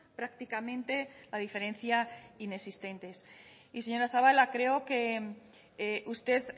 prácticamente la diferencia inexistentes y señora zabala creo que usted